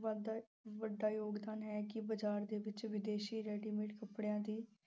ਵ ਅਹ ਵੱਡਾ ਯੋਗਦਾਨ ਹੈ ਕਿ ਬਾਜ਼ਾਰ ਦੇ ਵਿੱਚ ਵਿਦੇਸ਼ੀ readymade ਕੱਪੜਿਆਂ ਦੀ